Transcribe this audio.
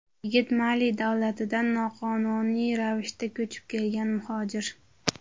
Yigit Mali davlatidan noqonuniy ravishda ko‘chib kelgan muhojir.